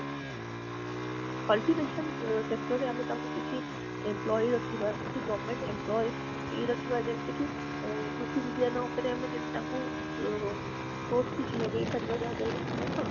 cultivation ଅ sector ରେ ଆମେ ତାଙ୍କୁ କିଛି employee ରଖିବା କିଛି government employee ରଖିବା ଯେମିତି କି କୃଷି ବିଜ୍ଞାନ ଉପରେ ଯେମିତି ଆମେ ତାଙ୍କୁ ଅ post କିଛି ଲଗେଇ ପାରିବା ଯାହା ଡକରା ସେମାନେ କଣ